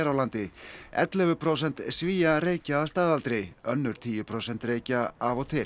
landi ellefu prósent Svía reykja að staðaldri önnur tíu prósent reykja af og til